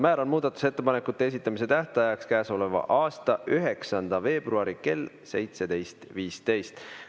Määran muudatusettepanekute esitamise tähtajaks käesoleva aasta 9. veebruari kell 17.15.